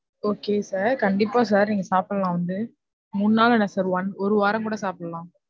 Okay sir, கண்டிப்பா sir நீங்க சாப்பிடலாம் வந்து. மூணு நாள் என்ன sir one ஒரு வாரம் கூட சாப்பிடலாம்.